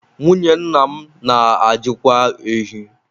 Nwunye nna m na-ajịkwa ehi